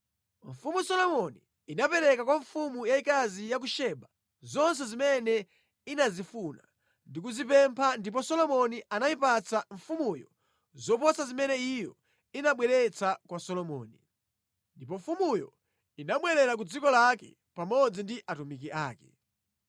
Mfumu Solomoni inapereka kwa mfumu yayikazi ya ku Seba zonse zimene inazifuna ndi kuzipempha ndipo Solomoni anayipatsa mfumuyo zoposa zimene iyo inabweretsa kwa Solomoni. Ndipo mfumuyo inabwerera ku dziko lake pamodzi ndi atumiki ake.